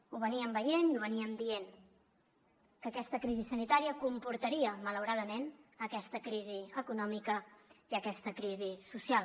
ho vèiem i ho dèiem que aquesta crisi sanitària comportaria malauradament aquesta crisi econòmica i aquesta crisi social